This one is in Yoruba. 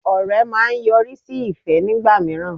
Ọ̀rẹ́ máa ń yọrí sí ìfẹ́ nígbà míràn